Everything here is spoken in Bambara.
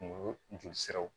Kungo jolisiraw